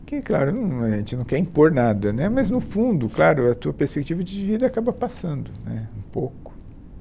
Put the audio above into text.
Que, claro num, a gente não quer impor nada né, mas no fundo, claro, a tua perspectiva de vida acaba passando né um pouco.